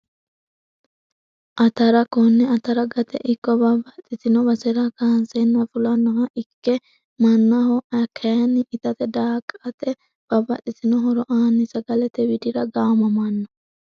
Atara kone atara gate ikko babaxitino basera kaansena fulanoha ikke manaho kayiini itate daaqate babaxitino horo aani sagalete widira gaamamano.